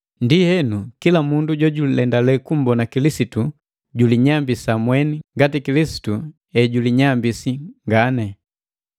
Ndienu, kila mundu jojulendale kummbona Kilisitu, julinyambisa mweni ngati Kilisitu ejulinyambisi ngani.